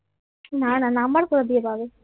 না না নাম্বার কথা দিয়ে পাবে